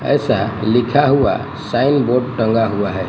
ऐसा लिखा हुआ साइन बोर्ड टंगा हुआ है।